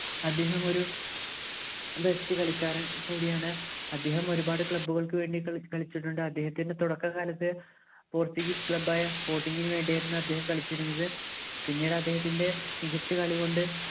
അദ്ദേഹം ഒരു best കളിക്കാനും കൂടിയാണ് അദ്ദേഹം ഒരുപാട് club ൾക്ക് വേണ്ടി കളിച്ചിട്ടുണ്ട് അദ്ദേഹത്തിൻ്റെ തുടക്കകാലത്ത് portuguese club ആയ sporting നു വേണ്ടിയായിരുന്നു അദ്ദേഹം കളിച്ചിരുന്നത് പിന്നീട് അദ്ദേഹത്തിൻ്റെ മികച്ച കളികൊണ്ട്